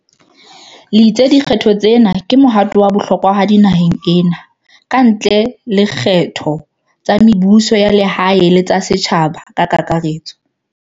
le itse di kgetho tsena ke mohato wa bohlokwahadi naheng ena, kantle le dikgetho tsa mebuso ya lehae le tsa setjhaba ka kaka retso.